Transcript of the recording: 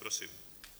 Prosím.